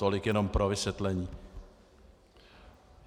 Tolik jenom pro vysvětlení.